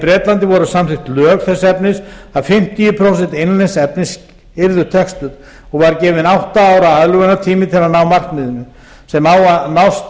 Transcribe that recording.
bretlandi voru samþykkt lög þess efnis að fimmtíu prósent innlends efnis yrðu textuð og var gefinn átta ára aðlögunartími til að ná markmiðinu sem á að nást